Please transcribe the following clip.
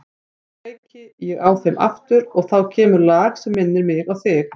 Nú kveiki ég á þeim aftur og þá kemur lag sem minnir mig á þig.